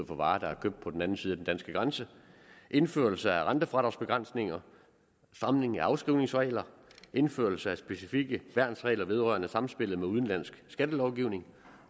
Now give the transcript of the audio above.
på varer der er købt på den anden side af den danske grænse indførelse af rentefradragsbegrænsninger stramning af afskrivningsregler indførelse af specifikke værnsregler vedrørende sammenspillet med udenlandsk skattelovgivning